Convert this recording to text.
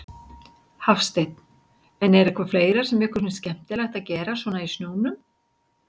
Hafsteinn: En er eitthvað fleira sem ykkur finnst skemmtilegt að gera svona í snjónum?